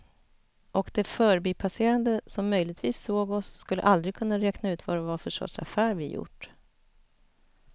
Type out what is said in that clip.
Och de förbipasserande som möjligtvis såg oss skulle aldrig kunna räkna ut vad det var för sorts affär vi gjort.